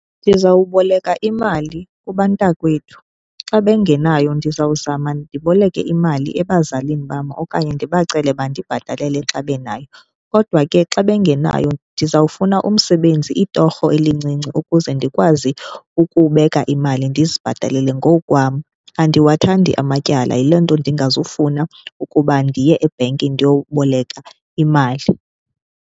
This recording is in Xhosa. Ndizawuboleka imali kubantakwethu. Xa bengenayo ndizawuzama ndiboleke imali ebazalini bam okanye ndibacele bandibhatalele xa benayo. Kodwa ke xa bengenayo ndizawufuna umsebenzi itorho elincinci ukuze ndikwazi ukubeka imali, ndizibhatalele ngokwam. Andiwathandi amatyala, yiloo nto ndingazufuna ukuba ndiye ebhenki ndiyoboleka imali.